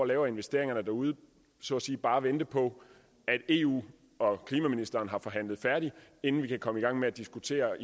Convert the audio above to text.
laver investeringerne derude så at sige bare vente på at eu og klimaministeren har forhandlet færdigt inden vi kan komme i gang med at diskutere